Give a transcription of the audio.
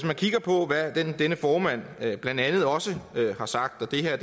man kigger på hvad denne formand blandt andet også har sagt og det her er